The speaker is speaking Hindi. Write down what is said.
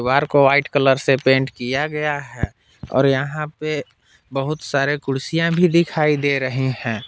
दीवार को व्हाइट कलर से पेंट किया गया है और यहां पे बहुत सारे कुर्सियां भी दिखाई दे रहे हैं।